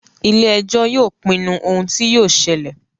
Ile-ẹjọ yóò pinnu ohun ti yóò ṣẹlẹ